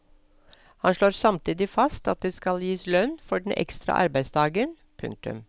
Han slår samtidig fast at det skal gis lønn for den ekstra arbeidsdagen. punktum